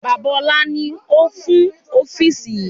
Bàbá ọlá ni ó kún ofiisi yìí